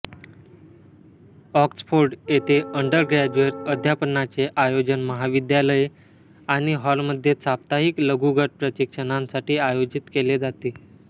Oxford येथे undergraduate अध्यापनाचे आयोजन महाविद्यालये आणि हॉलमध्ये साप्ताहिक लघुगट प्रशिक्षणांसाठी आयोजित केले जाते